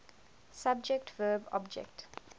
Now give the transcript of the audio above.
subject verb object